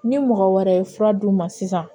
Ni mɔgɔ wɛrɛ ye fura d'u ma sisan